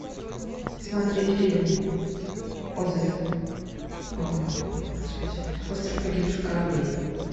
смотреть фильм отзыв господи остров погибших кораблей